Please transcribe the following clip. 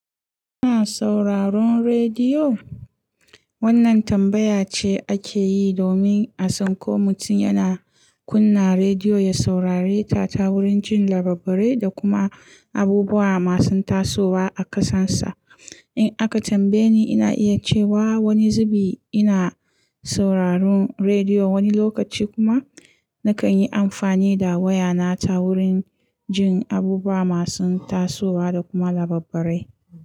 Ina sauraron rediyo? Wannan tambaya ce ake yi domin a san ko mutum yana kunna rediyo ya saurare ta ta wurin jin labarai da kuma abubuwa masu tasowa a ƙasarsa. In aka tambaye ni, ina iya cewa wani zubi ina sauraron rediyo wani lokaci kuma na kan yi amfani da waya na ta wurin jin abubuwa masu tasowa da kuma labarai.